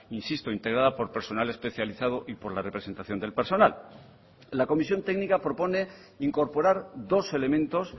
insisto integrada por personal especializado y por la representación del personal la comisión técnica propone incorporar dos elementos